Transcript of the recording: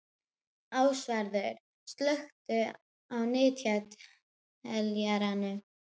Ásvarður, slökktu á niðurteljaranum.